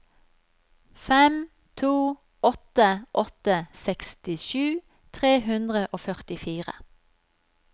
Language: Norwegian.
fem to åtte åtte sekstisju tre hundre og førtifire